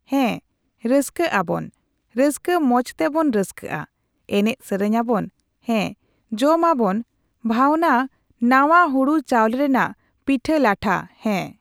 ᱦᱮᱸ, ᱨᱟᱹᱥᱠᱟᱹᱜ ᱟᱵᱚᱱ, ᱨᱟᱹᱥᱠᱟᱹ ᱢᱚᱸᱡ ᱛᱮᱵᱚᱱ ᱨᱟᱹᱥᱠᱟᱹᱜᱼᱟ ᱾ ᱮᱱᱮᱡ ᱥᱮᱨᱮᱧᱟᱵᱚᱱ, ᱦᱮᱸ ᱡᱚᱢᱟᱵᱚᱱ ᱵᱷᱟᱹᱣᱱᱟᱹ ᱱᱟᱣᱟ ᱦᱩᱲᱩ ᱪᱟᱣᱞᱮ ᱨᱮᱱᱟᱜ ᱯᱤᱴᱷᱟᱹᱼᱞᱟᱴᱷᱟ ᱦᱮᱸ ᱾